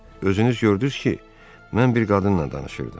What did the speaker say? Özünüz gördüz ki, mən bir qadınla danışırdım.